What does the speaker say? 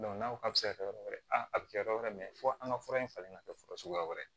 n'a ko k'a bɛ se ka kɛ yɔrɔ wɛrɛ a a bɛ kɛ yɔrɔ wɛrɛ fo an ka fura in falen ka kɛ fa suguya wɛrɛ ye